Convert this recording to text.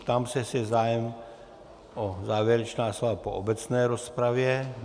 Ptám se, jestli je zájem o závěrečná slova po obecné rozpravě.